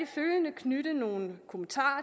følgende knytte nogle kommentarer